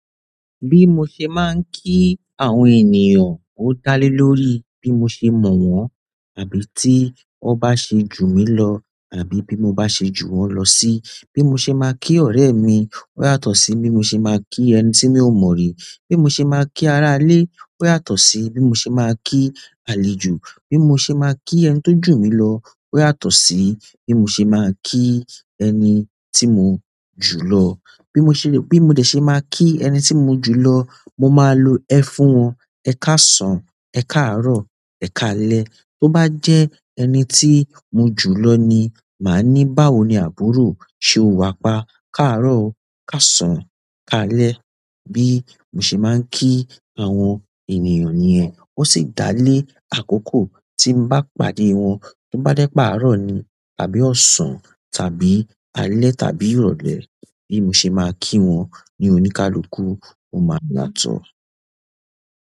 Bí mo ṣe máa ń kí àwọn ènìyàn, ó dá lé lórí bí mo ṣe mọ̀ wọ́n àbí tí wọ́n bá ṣe jù mí lọ àbí bí mo bá ṣe jù wọ́n lọ sí. Bí mo ṣe máa kí ọ̀rẹ́ mi ó yàtọ̀ sí bí mo ṣe máa kí ẹni tí mi ò mọ̀ rí. Bí mo ṣe máa kí ará ilé ó yàtọ̀ sí bí mo ṣe máa kí àlejò. Bí mo ṣe máa kí ẹni tó jù mí lọ ó yàtọ̀ sí bí mo ṣe máa kí ẹni tí mo jù lọ. Bí mo ṣe, bí mo dẹ̀ ṣe máa kí ẹni tí mo jù lọ, mo máa lo ẹ̀ fún wọn. Ẹ káàsán, ẹ̀ káàárọ̀, ẹ̀ káalẹ́. Tó bá jẹ́ ẹni tí mo jù lọ ni, màá ní, "báwo ni àbúrò, ṣe o wà pa? Káàárọ̀ o, káàsán, káalẹ́." Bí mo ṣe máa ń ki àwọn ènìyàn nìyẹn. Ó sì dá lé àkókò tí mo bá pàdé wọn. Tó bá jé pe árọ̀ ni tàbí ọ̀sán tàbí alẹ́ tàbí ìrọ̀lẹ́ bí mo ṣe máa ki wọn, ni oníkálukú, ó máa yàtọ̀.